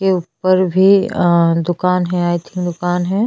और बिल्डिंग जो है जूनि दिख रही है काफी और --